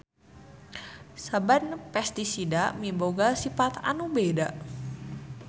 Saban pestisida miboga sipat anu beda.